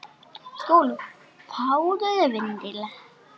SKÚLI: Fáðu þér vindil.